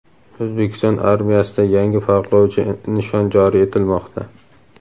O‘zbekiston armiyasida yangi farqlovchi nishon joriy etilmoqda.